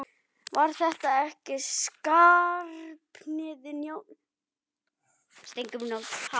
Var þetta ekki Skarphéðinn Njálsson, íslenskukennari?